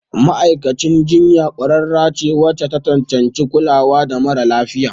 Ma'aikacin jinya ƙwararre ce wacce ta cancanci kulawa da mara lafiya.